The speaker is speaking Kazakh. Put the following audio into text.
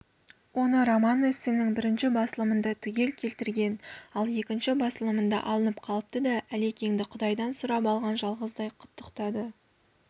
оны роман-эссенің бірінші басылымында түгел келтірген ал екінші басылымында алынып қалыпты да әлекеңді құдайдан сұрап алған жалғыздай құттықтады